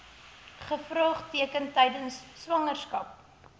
gevaartekens tydens swangerskap